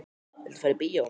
Viltu fara í bíó?